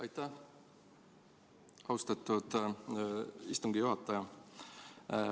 Aitäh, austatud istungi juhataja!